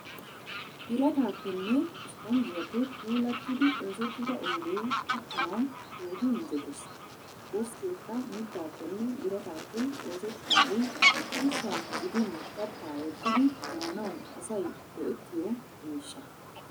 Birataaappenne isiponjjiyaappe puulattidi oosettida oyide uttanawu keehi injjetes. Deskkeekka mittaappenne birataappe oosettidaagee ushshaa gidin kattaa wottidi maanawu asay go'ettiyo miishsha.